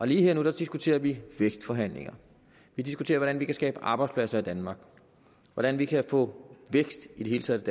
lige her og nu diskuterer vi vækstforhandlinger vi diskuterer hvordan vi kan skabe arbejdspladser i danmark hvordan vi kan få vækst i det hele taget